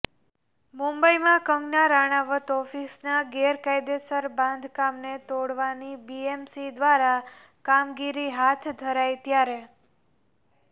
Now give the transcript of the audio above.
મુંબઇમાં કંગના રાણાવત ઓફિસના ગેરકાયદે બાંધકામને તોડવાની બીએમસી દ્વારા કામગીરી હાથ ધરાઇ ત્યારે